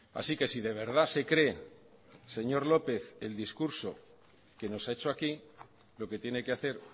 así que si de verdad se cree señor lópez el discurso que nos ha hecho aquí lo que tiene que hacer